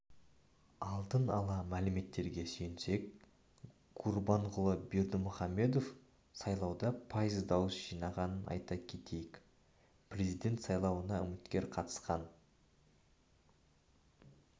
алдын ала мәліметтерге сүйенсек гурбанғұлы бердімұхамедов сайлауда пайыз дауыс жинаған айта кетейік президент сайлауына үміткер қатысқан